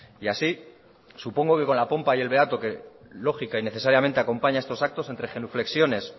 y así supongo que con la pompa y el beato que lógica y necesariamente acompaña estos actos entre genuflexiones